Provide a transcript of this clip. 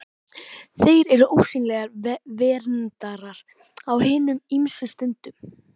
Þeir eru ósýnilegir verndarar á hinum ýmsu stundum.